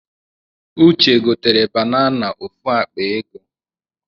Ude gotere banana ofu akpa ego